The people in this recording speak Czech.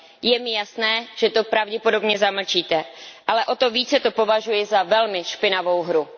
Je mi jasné, že to pravděpodobně zamlčíte, ale o to více to považuji za velmi špinavou hru.